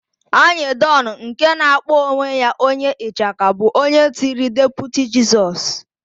Anyịdọn, nke na-akpọ onwe ya onye ịchaka bụ onye tiri Deputi Jisọs.